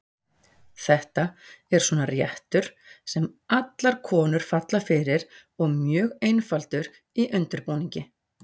Þetta er svona réttur sem allar konur falla fyrir og mjög einfaldur í undirbúningi.